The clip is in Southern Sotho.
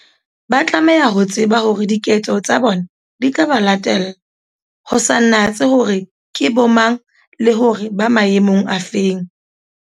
Ba tlameha ho tseba hore diketso tsa bona di tla ba latella, ho sa natsehe hore ke bomang, le hore ba maemong a feng.